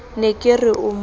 ne ke re o mo